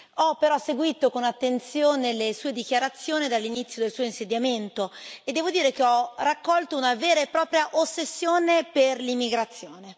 Ho però seguito con attenzione le sue dichiarazioni dall'inizio del suo insediamento e devo dire che ho colto una vera e propria ossessione per l'immigrazione.